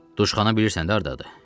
Duşxana bilirsən də hardadır.